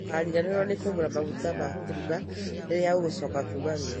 Ndũkariganĩrũo nĩ kũgũra maguta ma kũruga rĩrĩa ũgũcoka kuuma wĩra-inĩ